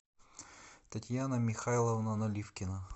татьяна михайловна наливкина